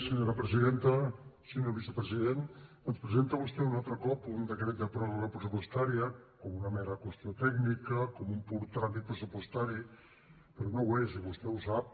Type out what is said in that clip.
senyor vicepresident ens presenta vostè un altre cop un decret de pròrroga pressupostària com una mera qüestió tècnica com un pur tràmit pressupostari però no ho és i vostè ho sap